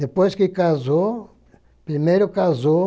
Depois que casou, primeiro casou,